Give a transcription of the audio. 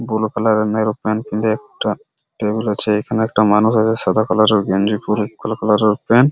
Blue colour এর ন্যানো pant একটা টেবিল আছে এখানে একটা মানুষ আছে সাদা কালার এর গেঞ্জি পরে বুলু কালার এর প্যান্ট।